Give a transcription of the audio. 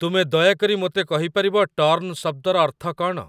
ତୁମେ ଦୟାକରି ମୋତେ କହିପାରିବ ଟର୍ନ ଶବ୍ଦର ଅର୍ଥ କ'ଣ?